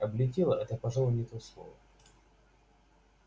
облетела это пожалуй не то слово